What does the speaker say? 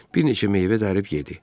Bir neçə meyvə dərib yedi.